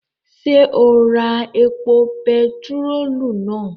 Ṣé o ra epo bentiróòlù náà?